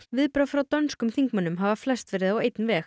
viðbrögð frá dönskum þingmönnum hafa flest verið á einn veg